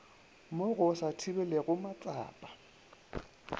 mo go sa thibelegego matsapa